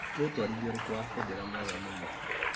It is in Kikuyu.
Nĩ ũtwarithia ũrĩkũ wa bendera mwega mũno ?